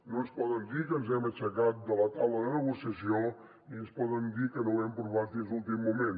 no ens poden dir que ens hem aixecat de la taula de negociació ni ens poden dir que no ho hem provat fins a l’últim moment